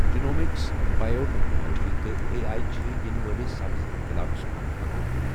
Genomics, biotechnology تہٕ A I چھِ یِنہٕ وٲلس سبز اِنقلابس كٗن پكان ۔